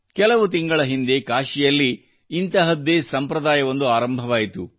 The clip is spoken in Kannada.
ಕೆಲವು ತಿಂಗಳ ಹಿಂದೆ ಕಾಶಿಯಲ್ಲಿ ಇಂತಹದ್ದೇ ಸಂಪ್ರದಾಯವೊಂದು ಆರಂಭವಾಯಿತು